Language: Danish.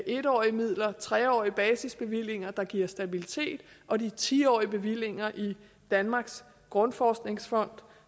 en årige midler tre årige basisbevillinger der giver stabilitet og de ti årige bevillinger i danmarks grundforskningsfond